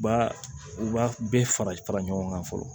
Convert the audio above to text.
U b'a u b'a bɛɛ fara fara ɲɔgɔn kan fɔlɔ